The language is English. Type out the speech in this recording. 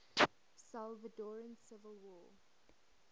salvadoran civil war